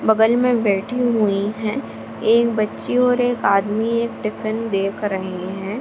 बगल में बैठी हुईं है। एक बच्ची और एक आदमी एक टिफ़िन देख रहे हैं।